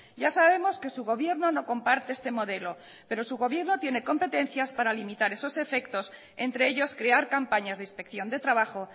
ya sabemos que su gobierno no comparte este modelo pero su gobierno tiene competencias para limitar esos efectos entre ellos crear campañas de inspección de trabajo